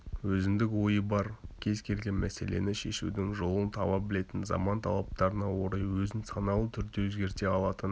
өзіндік ойы бар кез келген мәселені шешудің жолын таба білетін заман талаптарына орай өзін саналы түрде өзгерте алатын